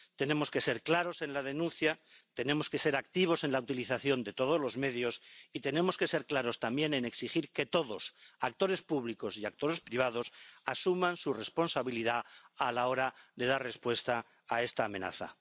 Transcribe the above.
Tenemos que ser claros en la denuncia, tenemos que ser activos en la utilización de todos los medios y tenemos que ser claros también en exigir que todos, actores públicos y actores privados, asuman su responsabilidad a la hora de dar respuesta a esta amenaza.